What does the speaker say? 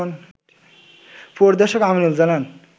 পরিদর্শক আমিনুল জানান